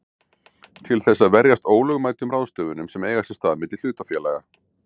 til þess að verjast ólögmætum ráðstöfunum sem eiga sér stað milli hlutafélaga.